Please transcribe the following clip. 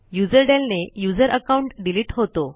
userdel ने user account delete होतो